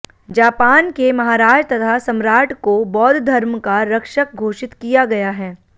जापानके महाराज तथा सम्राटको बौद्धधर्मका रक्षक घोषित किया गया है